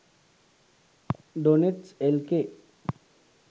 doenets lk